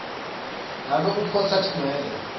babe uphotsa atinwele